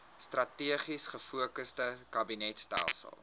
strategies gefokusde kabinetstelsel